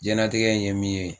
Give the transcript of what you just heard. Jiyɛnnatigɛ in ye min ye